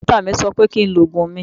Dókítà mi sọ pé kí n lo oògùn mi